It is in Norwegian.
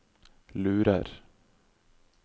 lurer